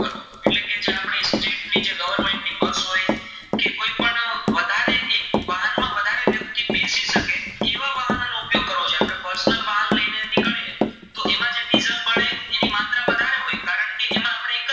કટકી જેમાં આપણે